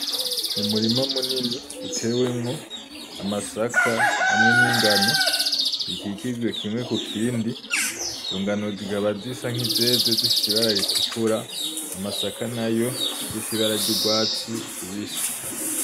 Umurima munini utewemwo amasaka hamwe n'ingano ukikijwe kimwe kukindi ingano zikaba zisa nk'izeze zifise ibara ritukura amasaka nayo afise ibara ry'ugwatsi rubisi.